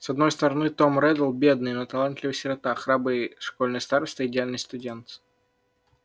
с одной стороны том реддл бедный но талантливый сирота храбрый школьный староста идеальный студент